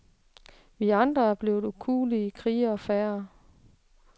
Vi andre er blevet en ukuelig kriger færre.